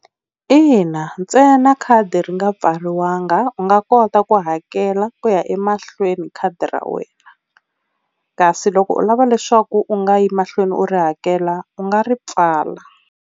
Ina ntsena khadi ri nga pfariwanga u nga kota ku hakela ku ya emahlweni khadi ra wena, kasi loko u lava leswaku u nga yi mahlweni u ri hakela u nga ri pfala.